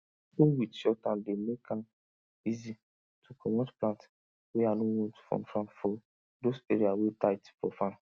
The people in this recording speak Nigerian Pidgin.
hoe wit short hand dey make an easy to comot plant wey i no want from farm for those area wey tight for farm